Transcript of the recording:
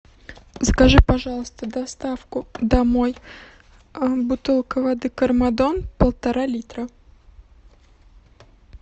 закажи пожалуйста доставку домой бутылка воды кармадон полтора литра